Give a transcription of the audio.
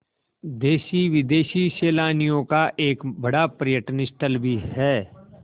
देशी विदेशी सैलानियों का एक बड़ा पर्यटन स्थल भी है